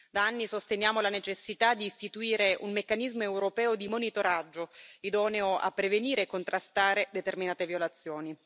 Da anni sosteniamo la necessità di istituire un meccanismo europeo di monitoraggio, idoneo a prevenire e contrastare determinate violazioni.